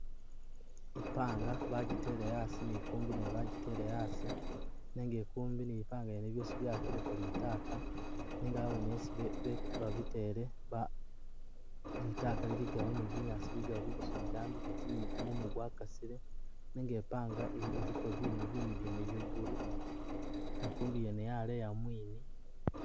I'panga bajitele asi ni i'kumbi nayo bajitele asi nenga i'kumbi ni i'panga yene byosi byawakileko litaka, nenga awene yesi be be babitele ba litaka liligawo ni binyaasi biligawo bijigi bidambi bitti ni gumumu gwakasile nenga i'panga eh iliko binu binu byene bye blue ne i'kumbi yene yaleya mwini